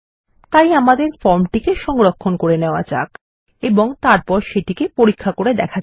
তাই আমাদের ফর্মটি সংরক্ষণ করে নেওয়া যাক এবং সেটিকে পরীক্ষা করে দেখা যাক